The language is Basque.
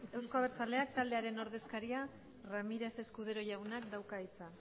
euzko abertzaleak taldearen ordezkariak ramírez escudero jaunak dauka hitza